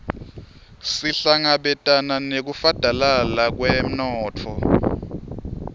sihlangabetane nekufadalala kwemnotfo